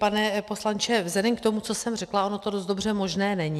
Pane poslanče, vzhledem k tomu, co jsem řekla, ono to dost dobře možné není.